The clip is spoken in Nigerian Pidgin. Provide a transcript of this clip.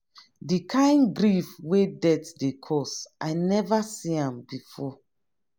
di kain grief wey death dey cause i neva see am before.